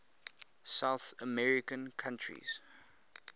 south american countries